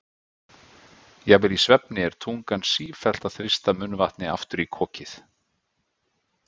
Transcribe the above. Jafnvel í svefni er tungan sífellt að þrýsta munnvatni aftur í kokið.